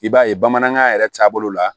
I b'a ye bamanankan yɛrɛ taabolo la